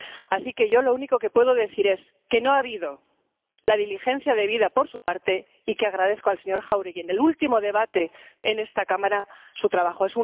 Así que yo lo único que puedo decir es que no ha habido la diligencia debida por su parte y que agradezco al señor Jáuregui, en el último debate en esta Cámara, su trabajo.